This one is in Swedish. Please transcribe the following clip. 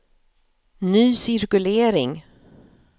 ny cirkulering